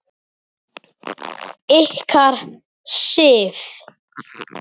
Ykkar, Sif.